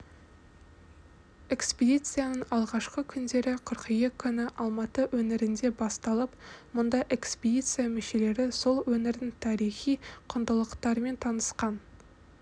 экспедицияның алғашқы күндері қыркүйек күні алматы өңірінде басталып мұнда экспедиция мүшелері сол өңірдің тарихи құндылықтарымен танысқан